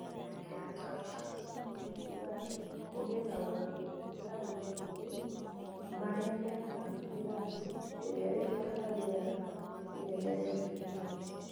Mũerekera ta ucio nĩ kuuga atĩ kũgĩe na ũgarũrũku harĩ makundi marĩa mĩkaga mĩrandi ĩrĩa ĩrutaga rĩera inene rĩa greenhouse.